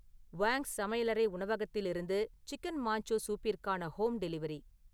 வாங்ஸ் சமையலறை உணவகத்திலிருந்து chicken manchow சூப்பிற்கான ஹோம் டெலிவரி